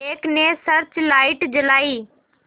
एक ने search light जलाई